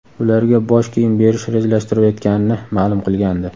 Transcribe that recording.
ularga bosh kiyim berish rejalashtirilayotganini ma’lum qilgandi.